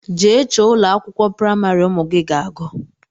Jee chọọ ụlọakwụkwọ primari ụmụ gị ga-agu!!!